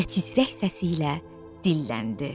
Və tizrək səsi ilə dilləndi.